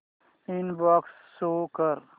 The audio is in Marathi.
इनबॉक्स शो कर